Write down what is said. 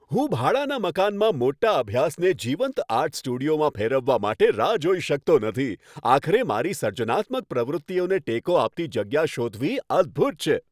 હું ભાડાના મકાનમાં મોટા અભ્યાસને જીવંત આર્ટ સ્ટુડિયોમાં ફેરવવા માટે રાહ જોઈ શકતો નથી. આખરે મારી સર્જનાત્મક પ્રવૃત્તિઓને ટેકો આપતી જગ્યા શોધવી અદ્ભુત છે.